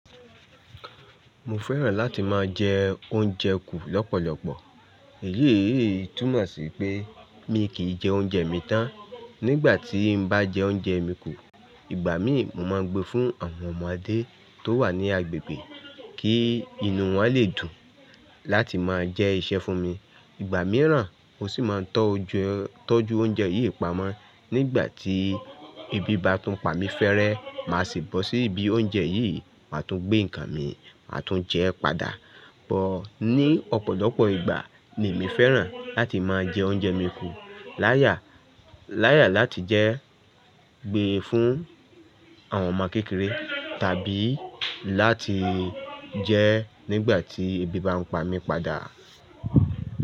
Mo fẹ́ràn láti máa jẹ oúnjẹ kú lọ́pọ̀lọpọ̀. Èyí túnmọ̀ sí pé mi kì í jẹ oúnjẹ mi tán. Nígbà tí n bá jẹ oúnjẹ mi kú, ìgbà mí mo máa ń gbé fún àwọn ọmọdé tó wà ní agbègbè kí inú wọn lè dùn láti máa jẹ iṣẹ́ fún mi. Ìgbà mìíràn mo sì máa ń tọ́jú oúnjẹ yìí pamọ́. Nígbà tí ebi bá tún pa mi fẹ́rẹ́, màá sì bọ́ sí ibi oúnjẹ yìí, màá tún gbé nǹkan mi, màá tún jẹ padà. But ní ọ̀pọ̀lọpọ̀ ìgbà ni èmi fẹ́ràn láti máa jẹ oúnjẹ mi kú láyà láti jẹ gbé fún àwọn ọmọ kékeré tàbí láti jẹ nígbà tí ebi bá ń pa mi padà.